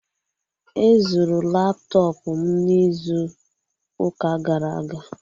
Ezuru laptọpụ m n'izu ụka gara aga